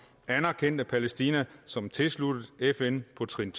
anerkendte palæstina som tilsluttet fn på trin